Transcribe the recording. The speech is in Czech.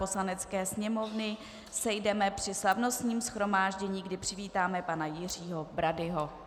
Poslanecké sněmovny sejdeme při slavnostním shromáždění, kdy přivítáme pana Jiřího Bradyho.